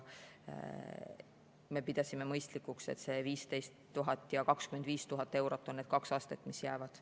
Me pidasime mõistlikuks, et 15 000 ja 25 000 eurot on need kaks astet, mis jäävad.